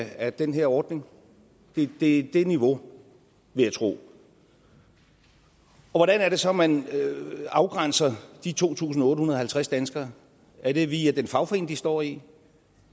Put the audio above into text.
af den her ordning det er det niveau vil jeg tro hvordan er det så man afgrænser de to tusind otte hundrede og halvtreds danskere er det via den fagforening de står i